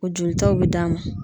O jolitaw be d'a ma.